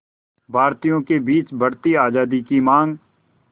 भारतीयों के बीच बढ़ती आज़ादी की मांग